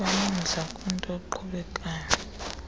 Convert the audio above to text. banomdla kwinto eqhubekayo